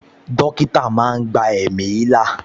Dókítà máa ń gba ẹ̀mí là